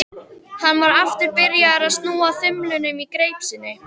Hann var aftur byrjaður að snúa þumlunum í greip sinni.